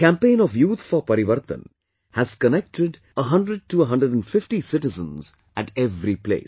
The campaign of Youth for Parivartan has connected 100 to 150 150 citizens at every place